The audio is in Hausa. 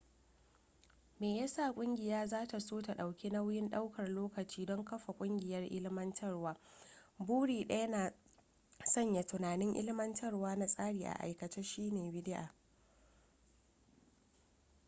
me yasa kungiya zata so ta dauki nauyin daukar lokaci don kafa kungiyar ilmantarwa buri daya na sanya tunanin ilmantarwa na tsari a aikace shine bidi'a